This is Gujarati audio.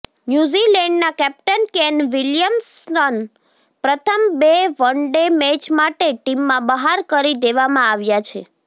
ન્યુઝીલેન્ડના કેપ્ટન કેન વિલિયમ્સન પ્રથમ બે વનડે મેચ માટે ટીમમાં બહાર કરી દેવામાં આવ્યા છે